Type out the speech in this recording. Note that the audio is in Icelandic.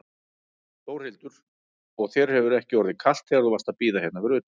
Þórhildur: Og þér hefur ekki orðið kalt þegar þú varst að bíða hérna fyrir utan?